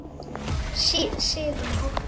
Siðum og háttum.